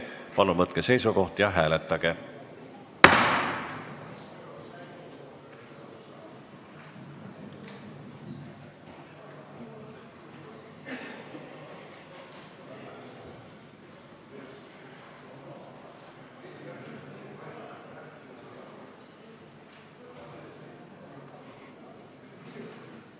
Palun võtke seisukoht ja hääletage!